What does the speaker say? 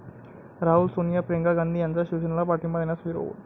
राहुल, सोनिया, प्रियंका गांधी यांचा शिवेसेनेला पाठिंबा देण्यास विरोध